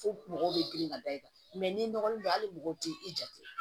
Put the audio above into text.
Fo mɔgɔw bɛ girin ka da i kan n'i nɔgɔlen don a hali mɔgɔ tɛ i jate